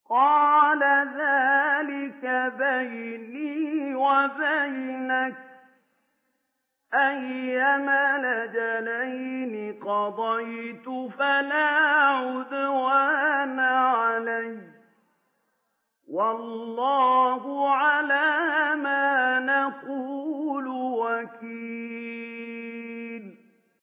قَالَ ذَٰلِكَ بَيْنِي وَبَيْنَكَ ۖ أَيَّمَا الْأَجَلَيْنِ قَضَيْتُ فَلَا عُدْوَانَ عَلَيَّ ۖ وَاللَّهُ عَلَىٰ مَا نَقُولُ وَكِيلٌ